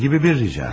Nə kimi bir rica?